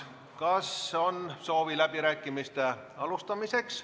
Kas on soovi alustada läbirääkimisi?